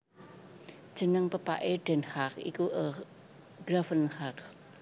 Jeneng pepaké Den Haag iku s Gravenhage